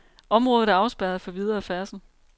Området er afspærret for videre færdsel.